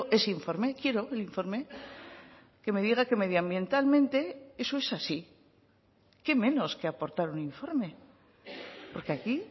ese informe quiero el informe que me diga que medioambientalmente eso es así qué menos que aportar un informe porque aquí